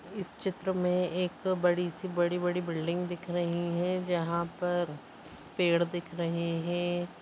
इस चित्र में एक बड़ी सी बड़ी-बड़ी बिल्डिंग दिख रहीं हैं जहा पर पेड़ दिख रहे हें।